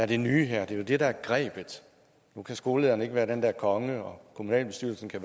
det nye her det er jo det der er grebet nu kan skolelederen ikke være den der konge og kommunalbestyrelsen kan